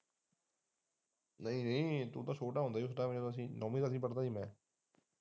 ਨਹੀਂ ਨਹੀਂ ਤੋਂ ਤਾ ਛੋਟਾ ਹੁੰਦਾ ਸੀ ਨੌਵੀਂ ਦਸਵੀ ਪੜਦਾ ਹੁੰਦਾ ਸੀ।